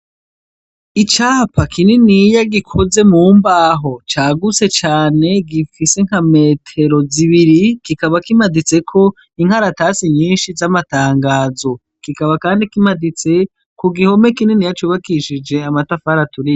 Icapa kininiya gikoze mumbaho cagutse cane gifise nka metero zibiri kikaba kimaditseko inkaratasi nyishi z'amatangazo kikaba kandi kimanditse kugihome kininiya cubakishije amatafar'aturiye.